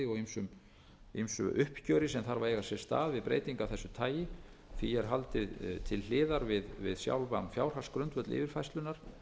ýmsu uppgjöri sem þarf að eiga sér stað við breytingu af þessu tagi því er haldið til hliðar við sjálfan fjárhagsgrundvöll yfirfærslunnar